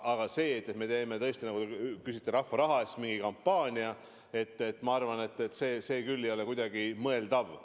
Aga me teeme rahva raha eest mingi kampaania – ma arvan, et see küll ei ole kuidagi mõeldav.